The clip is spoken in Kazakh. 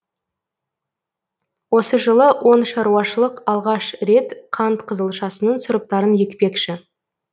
осы жылы он шаруашылық алғаш рет қант қызылшасының сұрыптарын екпекші